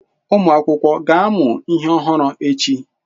Ụmụ akwụkwọ ga-amụ ihe ọhụrụ echi?